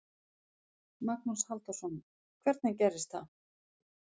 Magnús Halldórsson: Hvernig gerist það?